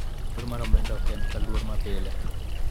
luor mar omenda ok en ka luor ma pile